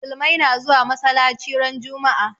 Musulmai na zuwa masalaci ran juma'a